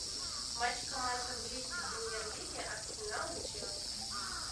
матч команд английской премьер лиги арсенал и челси